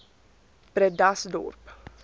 bredasdorp